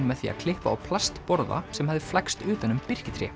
með því að klippa á plastborða sem hafði flækst utan um birkitré